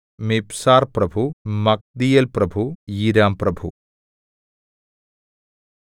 മിബ്സാർപ്രഭു മഗ്ദീയേൽപ്രഭു ഈരാംപ്രഭു